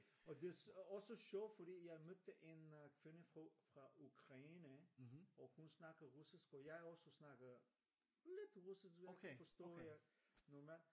Og det også sjovt fordi jeg mødte en kvinde fra Ukraine og hun snakker russisk og jeg også snakker lidt russisk vil jeg kunne forstå jeg normalt